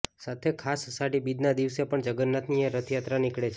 સાથે ખાસ અષાઢી બીજના દિવસે પણ જગન્નાથની રથયાત્રા નીકળે છે